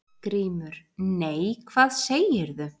GRÍMUR: Nei, hvað segirðu?